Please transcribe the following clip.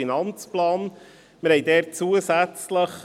Dieser Ordnungsantrag betrifft den VA und den AFP.